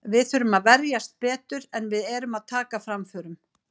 Við þurfum að verjast betur, en við erum að taka framförum.